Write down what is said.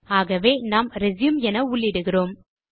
ஆகவே நாம் ரெச்யூம் என உள்ளிடுகிறோம்